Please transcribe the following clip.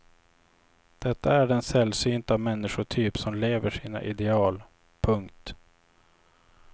Detta är den sällsynta människotyp som lever sina ideal. punkt